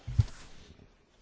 Herr Präsident!